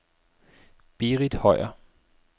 Berith Høier